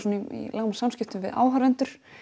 í samskiptum við áhorfendur